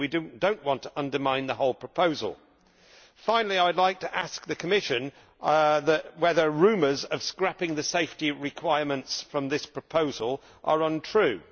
We do not want to undermine the whole proposal. Finally, I would like to ask the Commission whether the rumours about the scrapping of the safety requirements from this proposal are untrue.